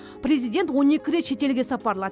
президент он екі рет шетелге сапарлады